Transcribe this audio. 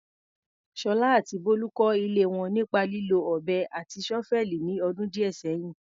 Sola àti Bolu kọ́ ilé wọn nípa lílo ọ̀bẹ àti ṣọ́fẹ́ẹ̀lì ní ọdún díẹ̀ sẹ́yìn.